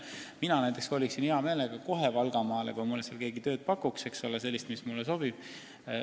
Mina näiteks koliksin hea meelega kohe Valgamaale, kui keegi pakuks mulle seal sellist tööd, mis mulle sobib.